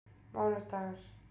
mánudagar